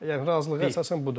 Yəni razılığa əsasən budur.